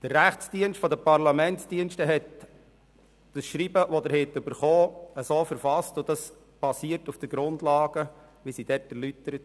So steht es im Schreiben der Parlamentsdienste , das Sie erhalten haben und das die Grundlagen erläutert.